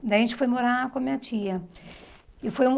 Daí a gente foi morar com a minha tia. E foi